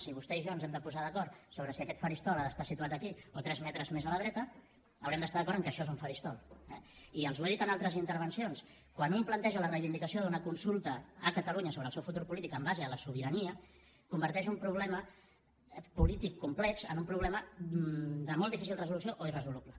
si vostè i jo ens hem de posar d’acord sobre si aquest faristol ha d’estar situat aquí o tres metres més a la dreta haurem d’estar d’acord que això és un faristol eh i els ho he dit en altres intervencions quan un planteja la reivindicació d’una consulta a catalunya sobre el seu futur polític en base a la sobirania converteix un problema polític complex en un problema de molt difícil resolució o irresoluble